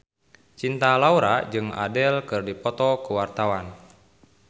Cinta Laura jeung Adele keur dipoto ku wartawan